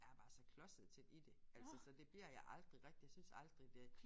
Er bare så klodset til i det altså så det bliver jeg aldrig rigtig jeg synes aldrig det